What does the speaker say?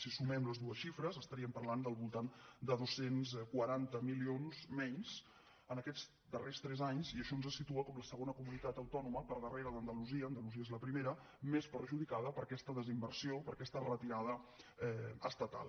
si sumem les dues xifres estaríem parlant del voltant de dos cents i quaranta milions menys en aquests darrers tres anys i això ens situa com la segona comunitat autònoma per darrere d’andalusia andalusia és la primera més perjudicada per aquesta desinversió per aquesta retirada estatal